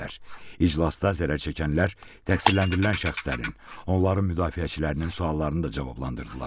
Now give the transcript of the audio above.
İclasda zərər çəkənlər təqsirləndirilən şəxslərin, onların müdafiəçilərinin suallarını da cavablandırdılar.